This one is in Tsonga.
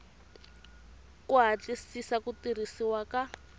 ku hatlisisa ku tirhisiwa ka